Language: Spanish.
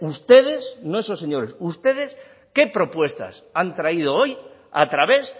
ustedes no esos señores ustedes qué propuestas han traído hoy a través